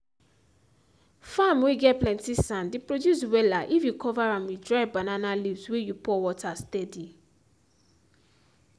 farm whey get plenty sand dey produce wella if you cover am with dry banana leaves whey you pour water steady